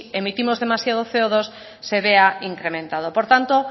emitimos demasiado ce o dos se vea incrementado por tanto